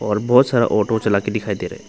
और बहुत सारा ऑटो चला के दिखाई दे रहा हैं।